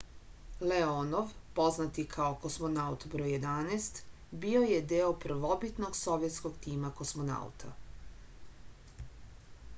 leonov poznat i kao kosmonaut br 11 bio je deo prvobitnog sovjetskog tima kosmonauta